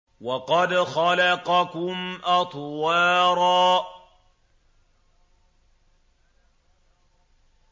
وَقَدْ خَلَقَكُمْ أَطْوَارًا